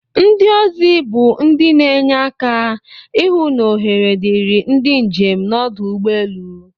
Ndi ozi bu ndi n'enye aka ihụ n'ohere diri ndi njem nọdụ ugbọ elu.